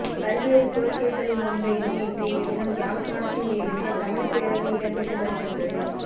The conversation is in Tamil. பல்வேறு கோரிக்கைகளை முன்வைத்து இன்றைய தினம் யாழ்ப்பாணத்தில் எழுக தமிழ் பேரணி இடம்பெற்று வருகின்றது